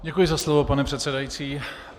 Děkuji za slovo, pane předsedající.